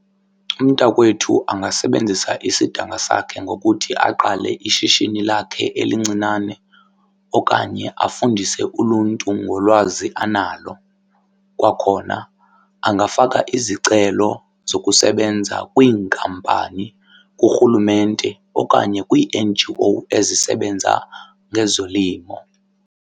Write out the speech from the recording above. Umntakwethu angasebenzisa isidanga sakhe ngokuthi aqale ishishini lakhe elincinane okanye afundise uluntu ngolwazi analo. Kwakhona angafaka izicelo zokusebenza kwiinkampani, kuRhulumente okanye kwii-N_G_O ezisebenza ngezolimo.